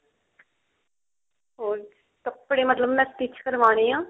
ਹੋਰ ਕੱਪੜੇ ਮਤਲਬ ਮੈਂ stich ਕਰਵਾਉਣੇ ਆ